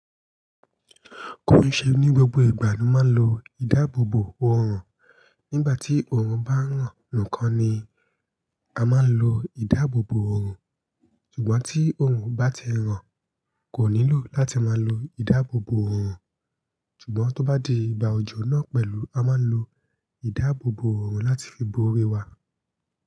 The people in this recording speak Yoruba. Kò ì ṣe ní gbogbo ìgbà ló máa ń lo ìdáàbòbò òrùn, nígbà tí òrùn bá ràn nìkan ni a máa ń lo ìdáàbòbò òrùn, ṣùgbọ́n tí òrùn bá ti ràn, kò nílò láti máa lo ìdáàbòbò òrùn. Ṣùgbọ́n tó bá di ìgbà òjò náà pẹ̀lú a máa ń lo ìdáàbòbò òrùn láti fi bo orí wa.